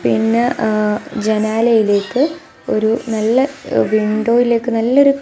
പിന്നെ ങ്ങ ജനാലയിലേക്ക് ഒരു നല്ല വിന്റോയിലേക്ക് നല്ലൊരു--